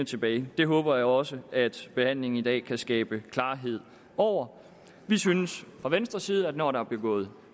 tilbage det håber jeg også at behandlingen i dag kan skabe klarhed over vi synes fra venstres side at når der er begået